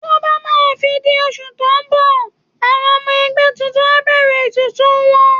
Tó bá máa fi di oṣù tó ń bọ̀, àwọn ọmọ ẹgbẹ́ tuntun á bẹ̀rẹ̀ ètùtù wọn